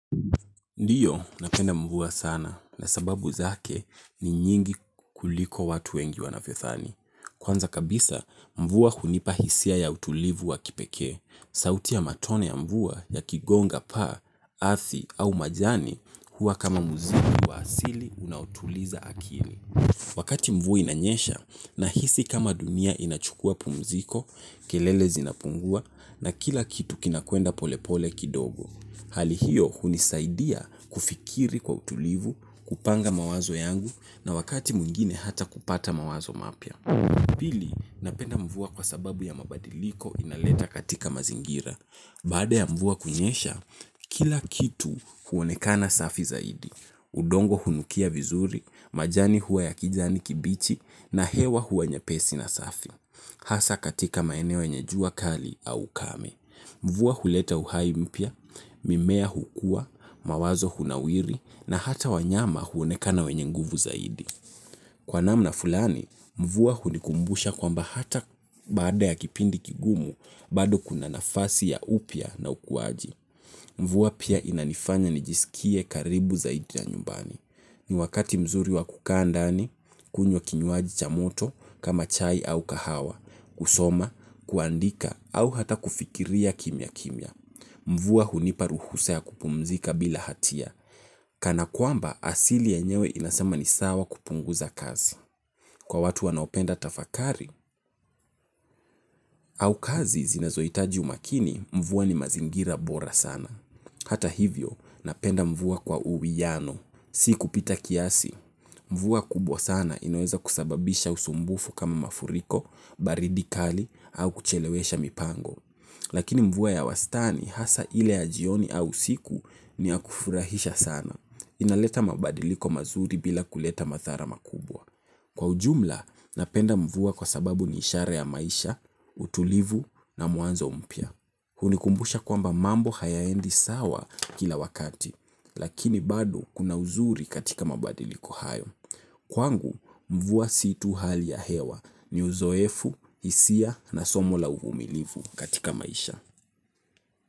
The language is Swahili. Ndiyo, napenda mvua sana na sababu zake ni nyingi kuliko watu wengi wanavyodhani. Kwanza kabisa, mvua hunipa hisia ya utulivu wa kipekee. Sauti ya matone ya mvua yakigonga paa, ardhi au majani huwa kama muziki wa asili unaotuliza akili. Wakati mvua inanyesha nahisi kama dunia inachukuwa pumziko, kelele zinapungua na kila kitu kinakwenda polepole kidogo. Hali hiyo hunisaidia kufikiri kwa utulivu, kupanga mawazo yangu na wakati mwingine hata kupata mawazo mapya. Pili, napenda mvua kwa sababu ya mabadiliko inaleta katika mazingira. Baada ya mvua kunyesha, kila kitu huonekana safi zaidi. Udongo hunukia vizuri, majani huwa ya kijani kibichi na hewa huwa nyepesi na safi. Hasa katika maeneo yenye jua kali au ukame. Mvua huleta uhai mpya, mimea hukua, mawazo hunawiri, na hata wanyama huonekana wenye nguvu zaidi. Kwa namna fulani, mvua hunikumbusha kwamba hata baada ya kipindi kigumu, bado kuna nafasi ya upya na ukuaji. Mvua pia inanifanya nijisikie karibu zaidi na nyumbani. Ni wakati mzuri wa kukaa ndani, kunywa kinywaji cha moto, kama chai au kahawa, kusoma, kuandika au hata kufikiria kimya kimya. Mvua hunipa ruhusa ya kupumzika bila hatia. Kana kwamba asili yenyewe inasema ni sawa kupunguza kazi. Kwa watu wanaopenda tafakari au kazi zinazohitaji umakini, mvua ni mazingira bora sana. Hata hivyo, napenda mvua kwa uwiano. Si kupita kiasi. Mvua kubwa sana inaweza kusababisha usumbufu kama mafuriko, baridi kali au kuchelewesha mipango. Lakini mvua ya wastani hasa ile ya jioni au usiku ni ya kufurahisha sana. Inaleta mabadiliko mazuri bila kuleta madhara makubwa. Kwa ujumla, napenda mvua kwa sababu ni ishara ya maisha, utulivu na mwanzo mpya. Hunikumbusha kwamba mambo hayaendi sawa kila wakati, lakini bado kuna uzuri katika mabadiliko hayo. Kwangu, mvua si tu hali ya hewa, ni uzoefu, hisia na somo la uvumilivu katika maisha.